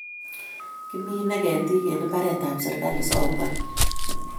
Kimine ketik en mbaret b serakali so bwan